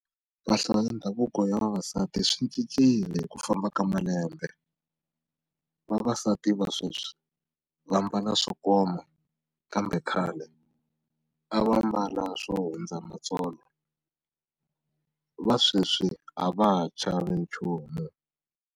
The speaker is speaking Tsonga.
Mpahla ya ndhavuko ya vavasati swi cincile hi ku famba ka malembe, vavasati va sweswi vambala swo koma kambe khale a va mbala swo hundza matsolo va sweswi a va ha chavi nchumu.